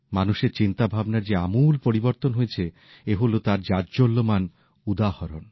মানুষের চিন্তা ভাবনার যে আমূল পরিবর্তন হয়েছে এ হল তার জাজ্বল্যমান উদাহরণ